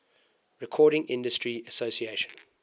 recording industry association